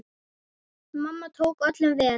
Mamma tók öllum vel.